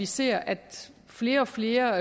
ser at flere og flere